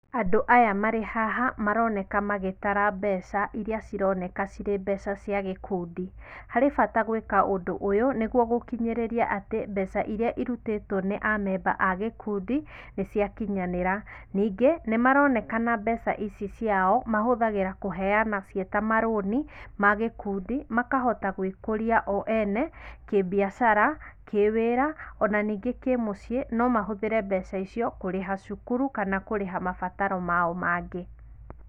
Andũ aya marĩ haha maroneka magĩtara mbeca iria cironeka cirĩ mbeca cia gĩkundi. Harĩ bata gwĩka ũndũ ũyũ nĩguo gũkinyĩrĩria atĩ mbeca iria irutĩtwo nĩ amemba a gĩkundi, nĩ ciakinyanĩra. Ningĩ, nĩ maronekana mbeca ici ciao mahũthagĩra kũheana ciĩ ta marũni, ma gĩkundi, makahota gũĩkũria o ene, kĩ-mbiacara, kĩ-wĩra, o na ningĩ kĩ-mũciĩ no mahũthĩre mbeca icio kũrĩha cukuru, kana kũrĩha mabataro mao mangĩ.